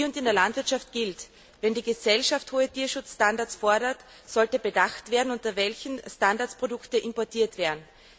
Hier und in der Landwirtschaft gilt Wenn die Gesellschaft hohe Tierschutzstandards fordert, sollte bedacht werden, unter welchen Standards Produkte importiert werden.